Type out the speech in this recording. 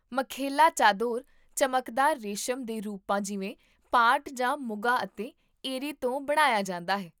ਮੇਖੇਲਾ ਚਾਦੋਰ ਚਮਕਦਾਰ ਰੇਸ਼ਮ ਦੇ ਰੂਪਾਂ ਜਿਵੇਂ ਪਾਟ ਜਾਂ ਮੁਗਾ ਅਤੇ ਏਰੀ ਤੋਂ ਬਣਾਇਆ ਜਾਂਦਾ ਹੈ